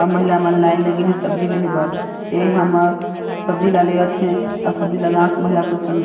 अउ महिला मन लाइन लगिन हे सब्जी लेहे बर ए हमर सब्जी ला लेवत हे अउ सब्जी ला गांव के महिला पस--